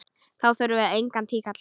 Þá þurfum við engan tíkall!